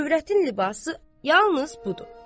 Övrətin libası yalnız budur.